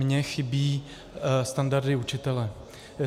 Mně chybí standardy učitele.